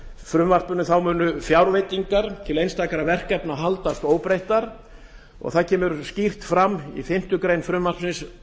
frumvarpinu munu fjárveitingar til einstakra verkefna haldast óbreyttar það kemur skýrt fram í fimmtu grein frumvarpsins